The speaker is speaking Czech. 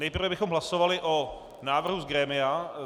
Nejprve bychom hlasovali o návrhu z grémia.